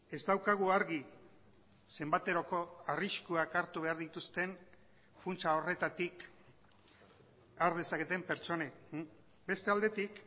ez daukagu argi zenbateroko arriskuak hartu behar dituzten funtsa horretatik har dezaketen pertsonek beste aldetik